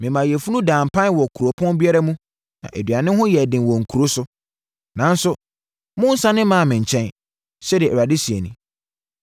“Memaa yafunu daa mpan wɔ kuropɔn biara mu na aduane ho yɛɛ den wɔ nkuro so, nanso monnsane mmaa me nkyɛn,” sɛdeɛ Awurade seɛ nie.